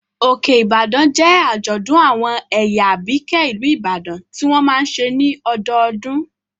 Òkè-Ìbàdàn jẹ́ àjọ̀dún àwọn ẹ̀yà Àbíkẹ́ ìlú Ìbàdàn tí wọ́n máa n ṣe ní ọdọdún